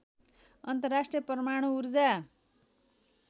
अन्तर्राष्ट्रिय परमाणु ऊर्जा